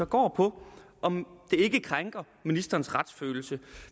går på om det ikke krænker ministerens retsfølelse at